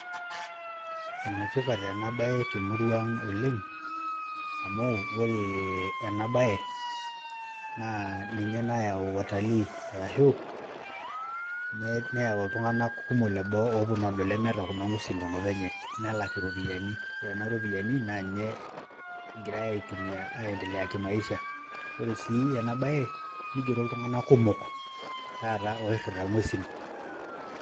Ene tipat ena baye te murua aang' oleng' amu ore ena baye naa ninye nayau watalii arashu neyau iltung'anak kumok leboo ooponu adol lemeeta kuna ng'uesi tenkop enye nelak iropiani, ore nena ropiani naa ninje egirai aitumia aiendelea kimaisha. Ore sii ena baye nigero iltung'anak kumok taata oirira ng'uesin.